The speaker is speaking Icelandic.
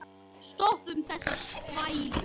Stoppum þessa þvælu.